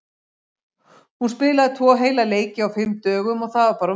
Hún spilaði tvo heila leiki á fimm dögum og það var bara of mikið.